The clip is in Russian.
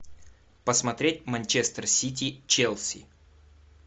посмотреть манчестер сити челси